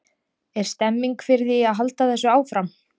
Er stemning fyrir því að halda þessu áfram?